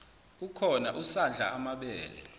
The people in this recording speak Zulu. ukhona usadla amabele